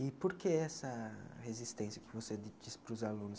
E por que essa resistência que você di disse para os alunos?